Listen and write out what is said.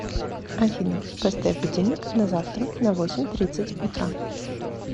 афина поставь будильник на завтра на восемь тридцать утра